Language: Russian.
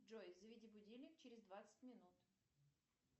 джой заведи будильник через двадцать минут